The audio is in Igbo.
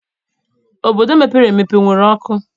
Obodo mepere emepe enwere ọkụ?